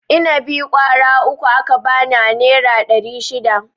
Inabi ƙwara uku aka bani a nera ɗari shida.